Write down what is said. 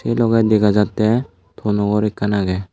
sei loge dega jatte tono gor ekkan agey.